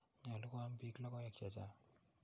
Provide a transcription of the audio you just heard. Nyalu koam piik logoek che chang'.